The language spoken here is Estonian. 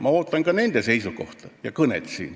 Ma ootan ka nende seisukohta ja kõnet.